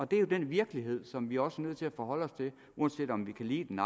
det er jo den virkelighed som vi også er nødt til at forholde os til uanset om vi kan lide den